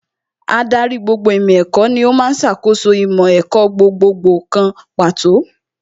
Ádárì gbogbo ìmọ̀ ẹ̀kọ́ ní ó ń ṣàkóso ìmọ̀ ẹ̀kọ́ gbogbogbò kan pàtó